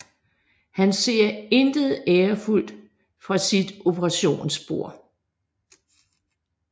Han ser intet ærefuldt fra sit operationsbord